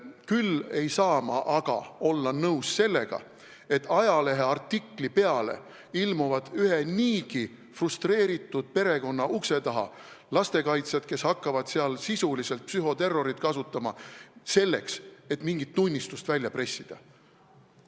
Küll ei saa ma olla nõus sellega, et ajaleheartikli peale ilmuvad ühe niigi frustreeritud perekonna ukse taha lastekaitsjad, kes hakkavad sisuliselt psühhoterrorit kasutama, selleks et mingit tunnistust välja pressida.